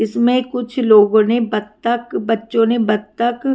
इसमें कुछ लोगों ने बतख बच्चो ने बतख--